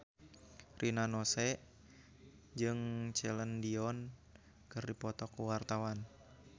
Rina Nose jeung Celine Dion keur dipoto ku wartawan